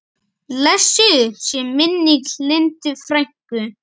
Blessuð sé minning Lindu frænku.